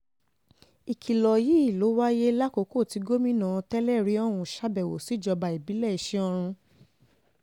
ìkìlọ̀ yìí ló wáyé lákòókò tí gómìnà tẹ́lẹ̀rí ọ̀hún ṣàbẹ̀wò síjọba ìbílẹ̀ iṣẹ́ọ̀run